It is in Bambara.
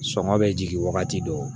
Sɔngɔ bɛ jigin wagati dɔ